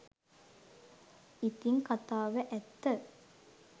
ඉතිං කතාව ඇත්ත